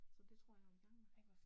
Så det tror jeg vil i gang med